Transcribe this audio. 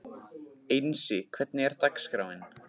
Einsi, hvernig er dagskráin?